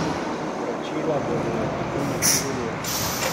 Vračila bodo na računih julija.